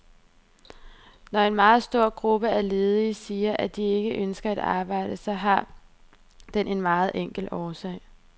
Når en meget stor gruppe af ledige siger, at de ikke ønsker et arbejde, så har den en meget enkel årsag.